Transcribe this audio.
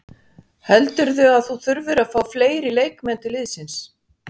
Heldurðu að þú þurfir að fá fleiri leikmenn til liðsins?